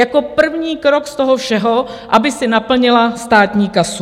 Jako první krok z toho všeho, aby si naplnila státní kasu.